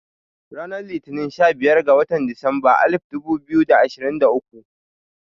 Ranar Litini sha biyar ga watan disamba alif dubu biyu da ashirin da uku